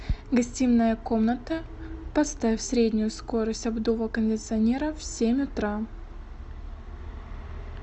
гостиная комната поставь среднюю скорость обдува кондиционера в семь утра